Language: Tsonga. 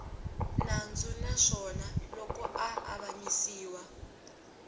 nandzu naswona loko a avanyisiwa